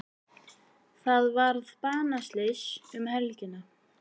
Þar varð banaslys um helgina.